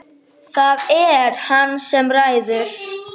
Það er hann sem ræður.